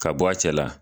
Ka bɔ a cɛ la